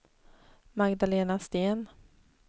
Magdalena Sten